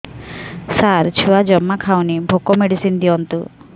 ସାର ଛୁଆ ଜମା ଖାଉନି ଭୋକ ମେଡିସିନ ଦିଅନ୍ତୁ